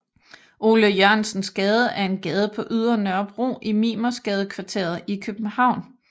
Ole Jørgensens Gade er en gade på Ydre Nørrebro i Mimersgadekvarteret i København